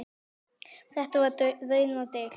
Um þetta var raunar deilt.